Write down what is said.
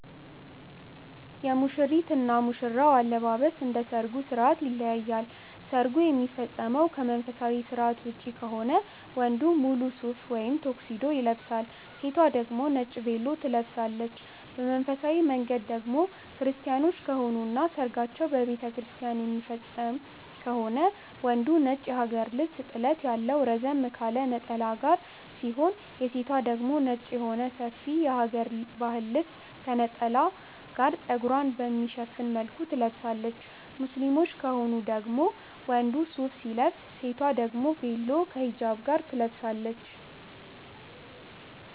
የሙሽሪት እና ሙሽራ አለባበስ እንደ ሰርጉ ስርዓት ይለያያል። ሰርጉ የሚፈጸመው ከመንፈሳዊ ስርዓት ውጪ ከሆነ ወንዱ ሙሉ ሱፍ ወይም ቶክሲዶ ይለብሳል። ሴቷ ደግሞ ነጭ ቬሎ ትለብሳለች። በመንፈሳዊ መንገድ ደግሞ ክርስቲያኖች ከሆኑ እና ሰርጋቸውን በቤተክርስቲያን የሚፈፅሙ ከሆነ ወንዱ ነጭ የሀገር ልብስ ጥለት ያለው ረዘም ካለ ነጠላ ጋር ሲሆን የሴቷ ደግሞ ነጭ የሆነ ሰፊ የሀገረ ባህል ልብስ ከነጠላ ጋር ፀጉሯን በሚሸፍን መልኩ ትለብሳለች። ሙስሊሞች ከሆኑ ደግሞ ወንዱ ሱፍ ሲለብስ ሴቷ ደግሞ ቬሎ ከ ሂጃብ ጋር ትለብሳለች።